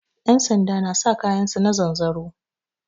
Yansanda na sa kayan su da zanzaro